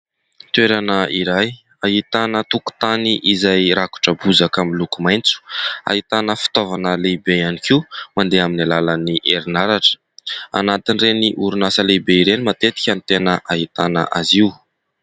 Toerana iray ahitana tokotany izay rakotra bozaka amin'ny loko maitso. Ahitana fitaovana lehibe ihany koa, mandeha amin'ny alàlan'ny herinaratra. Anatin'ireny orinasa lehibe ireny matetika no tena ahitana azy io.